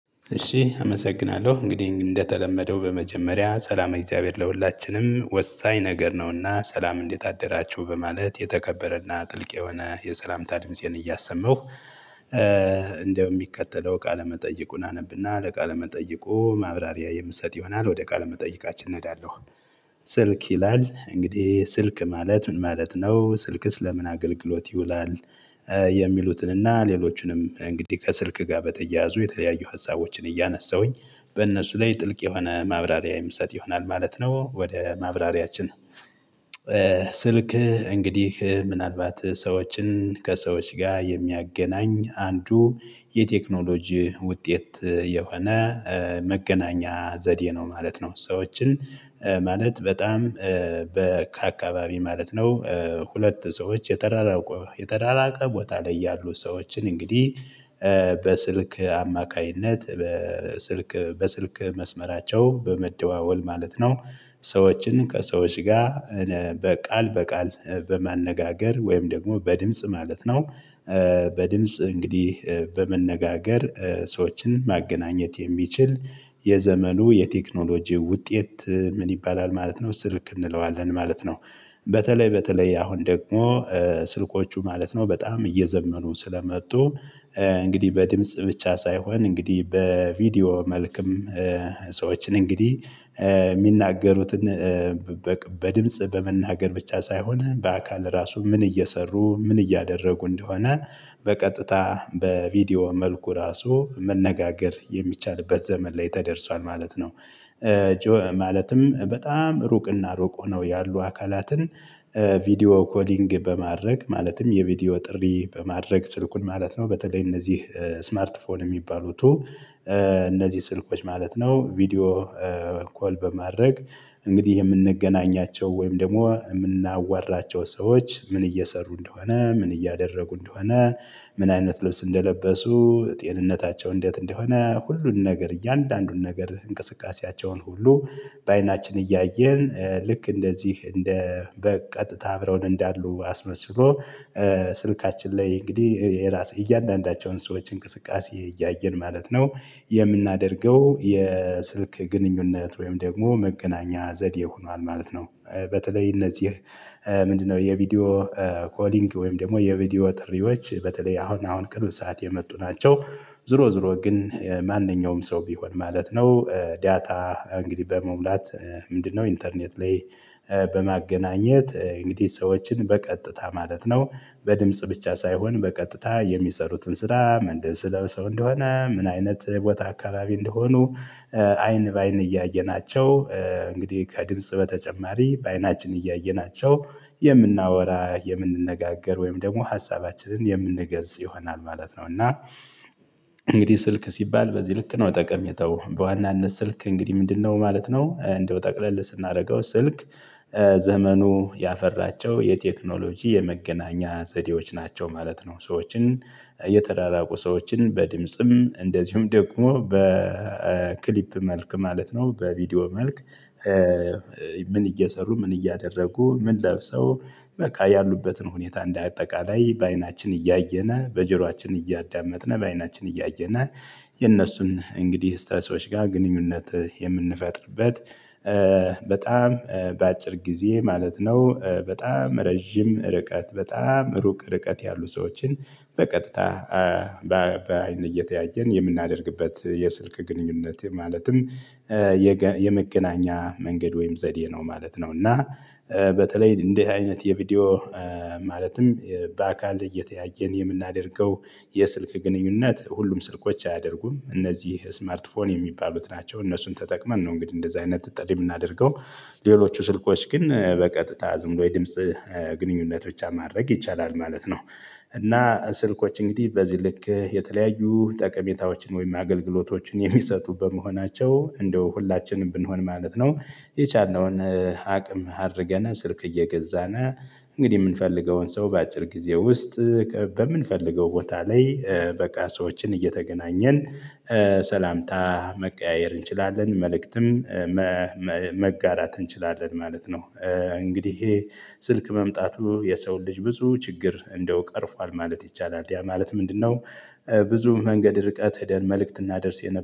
እሺ አመሰግናለሁ እንግዲህ እንደተለመደው በመጀመሪያ ሰላም እግዚአብሔር ለሁላችንም ወሳኝ ነገር ነውና ሰላም እንዴት አደራችሁ በማለት የተከበረና ጥልቅ የሆነ የሰላምታ ድምፄን እያሰማሁ እንደ እሚከተለው ቃለ መጠይቁን አነብና ለቃለ መጠይቁ ማብራሪያ የምሰጥ ይሆናል ወደ ቃል መጠይቃችን እሄዳለሁ። ስልክ ይላል እንግዲህ ስልክ ማለት ምን ማለት ነው ስልክስ ለምን አገልግሎት ይውላል? የሚሉትንና ሌሎችንም እንግዲህ ከስልክ ጋር በተያያዙ የተለያዩ ሀሳቦችን እያነሳሁኝ በእነሱ ላይ ጥልቅ የሆነ ማብራሪያ የምሰጥ ይሆናል ማለት ነው። ወደ ማብራሪያችን ስልክ እንግዲህ ምናልባት ሰዎችን ከሰዎች ጋር የሚያገናኝ አንዱ የቴክኖሎጂ ውጤት የሆነ መገናኛ ዘዴ ነው ማለት ነው። ሰዎችን ማለት በጣም ከአካባቢ ማለት ነው። ሁለት ሰዎች የተራራቀ ቦታ ላይ ያሉ ሰዎችን እንግዲህ በስልክ አማካኝነት በስልክ መስመራቸው በመደዋወል ማለት ነው። ሰዎችን ከሰዎች ጋር ቃል በቃል በማነጋገር ወይም ደግሞ በድምጽ ማለት ነው። በድምጽ እንግዲህ በመነጋገር ሰዎችን ማገናኘት የሚችል የዘመኑ የቴክኖሎጂ ውጤት ምን ይባላል ማለት ነው? ስልክ እንለዋለን ማለት ነው። በተለይ በተለይ አሁን ደግሞ ስልኮቹ ማለት ነው በጣም እየዘመኑ ስለመጡ። እንግዲህ በድምጽ ብቻ ሳይሆን እንግዲህ በቪዲዮ መልኩም ሰዎችን እንግዲህ እሚናገሩትን በድምጽ በመናገር ብቻ ሳይሆን በአካል ራሱ ምን እየሰሩ ምን እያደረጉ እንደሆነ በቀጥታ በቪዲዮ መልኩ ራሱ መነጋገር የሚቻልበት ዘመን ላይ ተደርሷል ማለት ነው። ማለትም በጣም ሩቅና ሩቅ ሆነው ያሉ አካላትን ቪዲዮ ኮሊንግ በማድረግ ማለትም የቪዲዮ ጥሪ በማድረግ ስልኩን ማለት ነው። በተለይ እነዚህ ስማርት ፎን እሚባሉት እነዚህ ስልኮች ማለት ነው። ቪዲዮ ኮል በማድረግ እንግዲህ የምንገናኛቸው ወይም ደግሞ የምናዋራቸው ሰዎች ምን እየሰሩ እንደሆነ ምን እያደረጉ እንደሆነ? ምን አይነት ልብስ እንደለበሱ ጤንነታቸው እንዴት እንደሆነ ሁሉን ነገር እያንዳንዱን ነገር እንቅስቃሴያቸውን ሁሉ። በአይናችን እያየን ልክ እንደዚህ እንደ በቀጥታ አብረውን እንዳሉ አስመስሎ ስልካችን ላይ እንግዲህ የራስ እያንዳንዳቸውን ሰዎች እንቅስቃሴ እያየን ማለት ነው። የምናደርገው የስልክ ግንኙነት ወይም ደግሞ መገናኛ ዘዴ ሆኗል ማለት ነው። በተለይ እነዚህ ምንድነው? የቪዲዮ ኮሊንግ ወይም ደግሞ የቪዲዮ ጥሪዎች በተለይ አሁን አሁን ቅርብ ሰዓት የመጡ ናቸው። ዙሮ ዙሮ ግን ማንኛውም ሰው ቢሆን ማለት ነው። ዳታ እንግዲህ በመሙላት ምንድነው? ኢንተርኔት ላይ በማገናኘት እንግዲህ ሰዎችን በቀጥታ ማለት ነው። በድምጽ ብቻ ሳይሆን በቀጥታ የሚሰሩትን ስራ ምንድን ልብስ ለብሰው እንደሆነ ምን አይነት ቦታ አካባቢ እንደሆኑ? አይን በአይን እያየናቸው እንግዲህ ከድምጽ በተጨማሪ በአይናችን እያየናቸው የምናወራ የምንነጋገር ወይም ደግሞ ሀሳባችንን የምንገልጽ ይሆናል ማለት ነው። እና እንግዲህ ስልክ ሲባል በዚህ ልክ ነው። ጠቀሜታው በዋናነት ስልክ እንግዲህ ምንድነው ማለት ነው? እንደው ጠቅለል ስናደርገው ስልክ ዘመኑ ያፈራቸው የቴክኖሎጂ የመገናኛ ዘዴዎች ናቸው ማለት ነው። ሰዎችን የተራራቁ ሰዎችን በድምጽም እንደዚሁም ደግሞ በክሊፕ መልክ ማለት ነው። በቪዲዮ መልክ ምን እየሰሩ ምን እያደረጉ ምን ለብሰው በቃ ያሉበትን ሁኔታ እንደ አጠቃላይ በአይናችን እያየነ በጀሯችን እያዳመጥን በአይናችን እያየነ። የነሱን እንግዲህ እስተሰዎች ጋር ግንኙነት የምንፈጥርበት በጣም በአጭር ጊዜ ማለት ነው። በጣም ረጅም ርቀት በጣም ሩቅ ርቀት ያሉ ሰዎችን በቀጥታ በአይን እየተያየን የምናደርግበት የስልክ ግንኙነት ማለትም የመገናኛ መንገድ ወይም ዘዴ ነው ማለት ነው። እና በተለይ እንዴት አይነት የቪዲዮ ማለትም በአካል እየተያየን የምናደርገው። የስልክ ግንኙነት ሁሉም ስልኮች አያደርጉም እነዚህ ስማርትፎን የሚባሉት ናቸው እነሱን ተጠቅመን ነው እንግዲህ እንደዚህ አይነት ጥሪ እምናደርገው። ሌሎቹ ስልኮች ግን በቀጥታ ዝምብሎ የድምጽ ግንኙነት ብቻ ማድረግ ይቻላል ማለት ነው። እና ስልኮች እንግዲህ በዚህ ልክ የተለያዩ ጠቀሜታዎችን ወይም አገልግሎቶችን የሚሰጡበ መሆናቸው እንደው ሁላችንም ብንሆን ማለት ነው። የቻልነውን አቅም አድርገን ስልክ እየገዛን እንግዲህ እምንፈልገውን ሰው በአጭር ጊዜ ውስጥ በምንፈልገው ቦታ ላይ በቃ ሰዎችን እየተገናኘን ሰላምታ መቀያየር እንችላለን መልእክትም መጋራት እንችላለን ማለት ነው። እንግዲህ ይሄ ስልክ መምጣቱ የሰው ልጅ ብዙ ችግር እንደው ቀርፏል ማለት ይቻላል ያ ማለት ምንድነው? ብዙ መንገድ ርቀት ሄደን መልእክት እናደርስ የነበረው